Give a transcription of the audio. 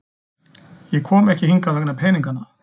Ég kom ekki hingað vegna peningana.